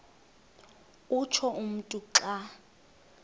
utsho umntu xa